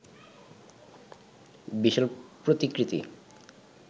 বিশাল প্রতিকৃতি